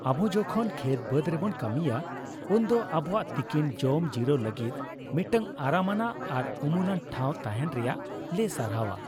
ᱟᱵᱚ ᱡᱚᱠᱷᱚᱱ ᱠᱷᱮᱛᱼᱵᱟᱹᱫ ᱨᱮᱵᱚᱱ ᱠᱟᱹᱢᱤᱭᱟ ᱩᱱᱫᱚ ᱟᱵᱚᱣᱟᱜ ᱛᱤᱠᱤᱱ ᱡᱚᱢ ᱡᱤᱨᱟᱹᱣ ᱞᱟᱹᱜᱤᱫ ᱢᱤᱫᱴᱟᱝ ᱟᱨᱟᱢᱟᱱᱟᱜ ᱟᱨ ᱩᱢᱩᱞᱟᱱ ᱴᱷᱟᱣ ᱛᱟᱦᱮᱱ ᱨᱮᱭᱟᱜ ᱞᱮ ᱥᱟᱨᱦᱟᱣᱟ ᱾